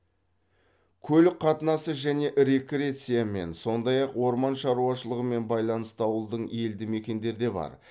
көлік қатынасы және рекреациямен сондай ақ орман шаруашылығымен байланысты ауылдың елді мекендер де бар